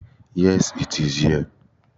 Yes, it's here